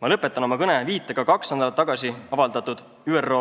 Ma lõpetan oma kõne viitega kaks nädalat tagasi avaldatud ÜRO